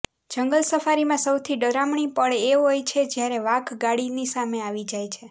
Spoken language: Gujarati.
જંગલ સફારીમાં સૌથી ડરામણી પળ એ હોય છે જ્યારે વાઘ ગાડીની સામે આવી જાય